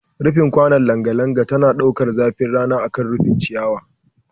Rufin kwanon langa langa tana ɗaukar zafin rana akan rufin ciyawa